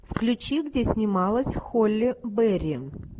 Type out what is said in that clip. включи где снималась холли берри